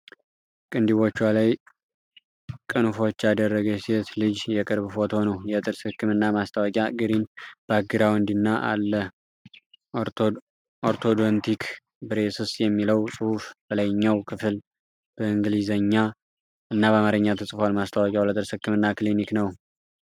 ቅንድቦቿ ላይ ቅንፎች ያደረገች ሴት ልጅ የቅርብ ፎቶ ነው። የጥርስ ህክምና ማስታወቂያ ግሪን ባክግራውንድ ላይ አለ። 'ኦርቶዶንቲክ/ብሬሰስ' የሚለው ጽሑፍ በላይኛው ክፍል በኢንግሊዘኛ እና በአማርኛ ተጽፏል። ማስታወቂያው ለጥርስ ህክምና ክሊኒክ ነው።